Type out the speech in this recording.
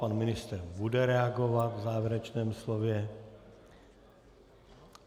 Pan ministr bude reagovat v závěrečném slově.